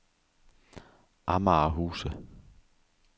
Amager Huse